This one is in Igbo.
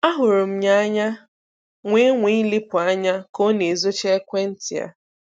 Ahụrụ m ya anya wee nwaa ilepụ anya ka ọ na-ezochi ekwentị ya.